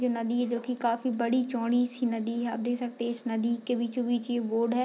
ये नदी है जो की काफ़ी बड़ी-चौड़ी सी नदी है आप देख सकते हैं इस नदी के बीचों-बीच ये बोट है।